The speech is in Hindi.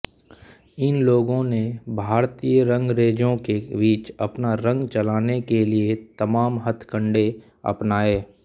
इन लोगों ने भारतीय रंगरेंजों के बीच अपना रंग चलाने के लिए तमाम हथकंडे अपनाए